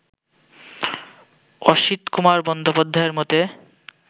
অসিতকুমার বন্দ্যোপাধ্যায়ের মতে